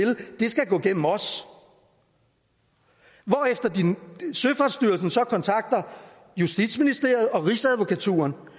skal gå gennem os hvorefter søfartsstyrelsen så kontakter justitsministeriet og rigsadvokaturen